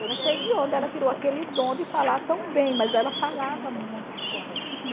Eu não sei de onde ela tirou aquele dom de falar tão bem, mas ela falava muito correto.